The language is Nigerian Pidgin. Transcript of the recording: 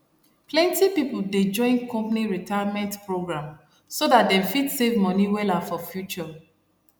plenty people dey join company retirement program so that dem fit save money wella for future